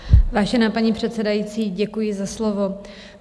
Vážená paní předsedající, děkuji za slovo.